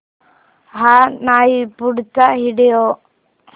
हा नाही पुढचा व्हिडिओ